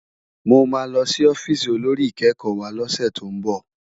Mô ma lò si òfìsí ôlórí ikèékò wá lòsè tó n bò